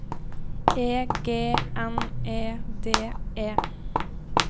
E G N E D E